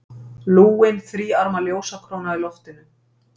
Lúin, þríarma ljósakróna í loftinu.